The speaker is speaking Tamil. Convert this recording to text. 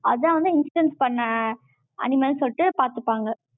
அதான் வந்து, instance பண்ண, animal ன்னு சொல்லிட்டு, பார்த்துப்பாங்க